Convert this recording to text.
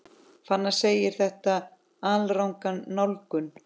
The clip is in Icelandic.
Fannar segir þetta alranga nálgun.